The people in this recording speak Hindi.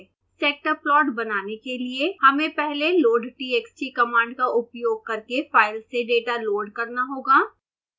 स्कैटर प्लॉट बनाने के लिए हमें पहले loadtxt कमांड का उपयोग करके फाइल से डेटा लोड करना होगा